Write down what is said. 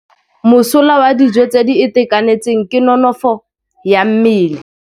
Mosola wa dijô tse di itekanetseng ke nonôfô ya mmele.